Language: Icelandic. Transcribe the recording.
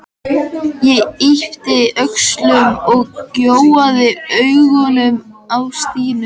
Ég yppti öxlum og gjóaði augunum á Stínu.